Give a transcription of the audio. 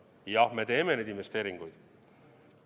Jah, me teeme neid investeeringuid.